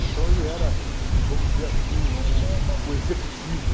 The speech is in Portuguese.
Então ele era, vamos dizer assim, o o o executivo.